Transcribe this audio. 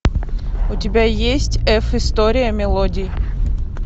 у тебя есть эф история мелодий